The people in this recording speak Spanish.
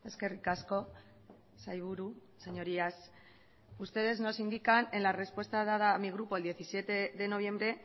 eskerrik asko sailburu señorías ustedes nos indican en la respuesta dada a mi grupo el diecisiete de noviembre